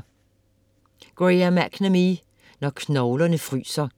McNamee, Graham: Når knoglerne fryser